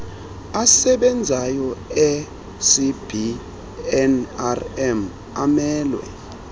asebenzayo ecbnrm amelwe